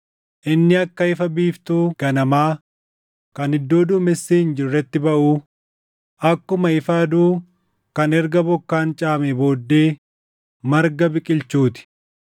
inni akka ifa biiftuu ganamaa kan iddoo duumessi hin jirretti baʼuu, akkuma ifa aduu kan erga bokkaan caamee booddee marga biqilchuu ti.’